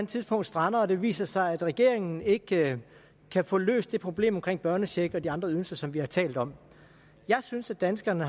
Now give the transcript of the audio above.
tidspunkt strander og det viser sig at regeringen ikke kan få løst det problem omkring børnecheck og de andre ydelser som vi har talt om jeg synes danskerne